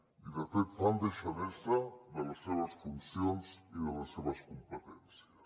i de fet fan deixadesa de les seves funcions i de les seves competències